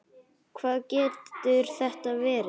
Hvað getur þetta verið?